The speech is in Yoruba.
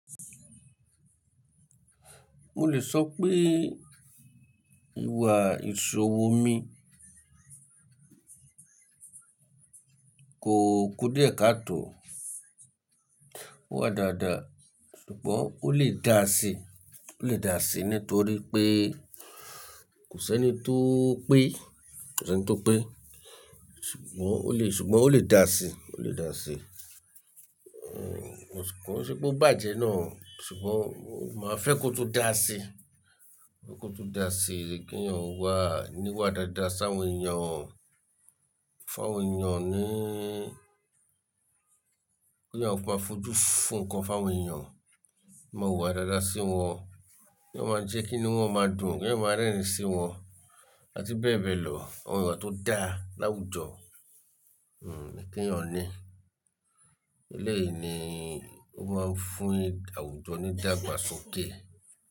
Mo lè sọ pé ìwà ìṣòwò mi kò kú díẹ̀ katọ́, ó wà dáadáa ṣùgbọ́n ó lè dàá sí, ó lè dàá sí nítorí pé kò sí ẹni tó ń pè, kò sí ẹni tó ń pè. Ṣùgbọ́n ó lè, ṣùgbọ́n ó lè dàá sí, ó lè dàá sí. Kọ́ sí pé ó bàjẹ́ náà, ṣùgbọ́n máa fẹ́ kó tú dàá sí, kó tú dàá sí kí èèyàn ó wà, ní wà dáadáa sáwọn èèyàn, fáwọn èèyàn níí, kí èèyàn ó máa fojú fó nǹkan fáwọn èèyàn, máa wúwà dáadáa sí wọn, kí èèyàn máa jẹ́ kí íniú wọ́n máa dùn, kí èèyàn máa rẹ́rìn sí wọn àti bẹ́ẹ̀ bẹ́ẹ̀ lọ. Àwọn íwá tó dá láwùjọ kí èèyàn ní. Elẹ́yìí ni ó máa ń fún àwùjọ ní ìdàgbàsókè.